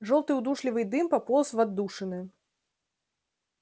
жёлтый удушливый дым пополз в отдушины